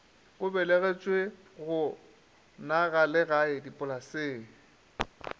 o belegetšwe go nagalegae dipolaseng